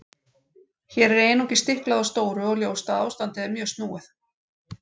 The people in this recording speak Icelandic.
Hér er einungis stiklað á stóru og ljóst að ástandið er mjög snúið.